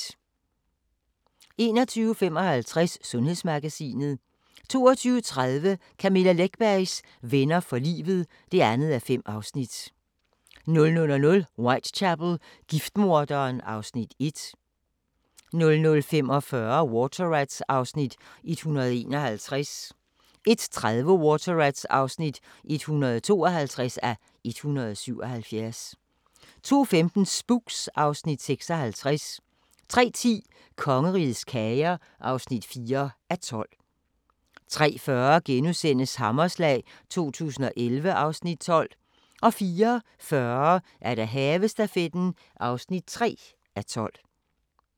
21:55: Sundhedsmagasinet 22:30: Camilla Läckbergs Venner for livet (2:5) 00:00: Whitechapel: Giftmorderen (Afs. 1) 00:45: Water Rats (151:177) 01:30: Water Rats (152:177) 02:15: Spooks (Afs. 56) 03:10: Kongerigets kager (4:12) 03:40: Hammerslag 2011 (Afs. 12)* 04:40: Havestafetten (3:12)